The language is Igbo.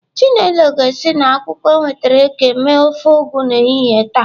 Chinelo ga-esi na akwukwo o nwetara eke mee ofe Ugu n'ehihie taa.